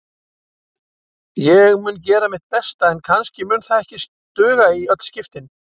Ég mun gera mitt besta en kannski mun það ekki duga í öll skiptin.